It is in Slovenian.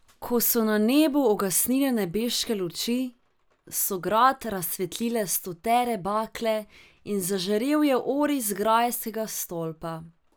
Ko so na nebu ugasnile nebeške luči, so grad razsvetlile stotere bakle in zažarel je oris grajskega stolpa.